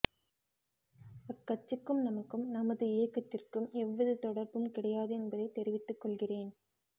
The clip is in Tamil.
அக்கட்சிக்கும் நமக்கும் நமது இயக்கத்திற்கும் எவ்வித தொடா்பும் கிடையாது என்பதை தெரிவித்துக் கொள்கிறேன்